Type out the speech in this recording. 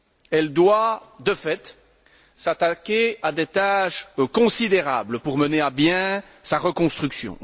Elle doit, de fait, s'attaquer à des tâches considérables pour mener à bien sa reconstruction.